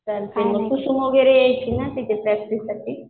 चालतंय मग यायचे ना तिथे प्रॅक्टिस साठी